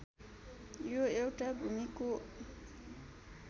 यो एउटा भूमिको